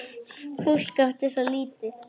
Fólk átti svo lítið.